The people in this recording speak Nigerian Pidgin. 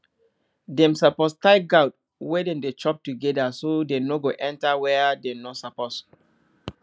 dem suppose tie goat when dem dey chop together so dem no go waka enter where dem no suppose